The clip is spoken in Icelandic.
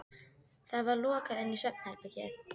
Það var lokað inn í svefnherbergið.